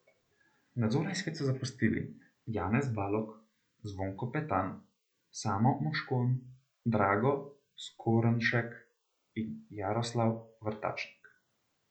Nadzorni svet so zapustili Janez Balog, Zvonko Petan, Samo Moškon, Drago Skornšek in Jaroslav Vrtačnik.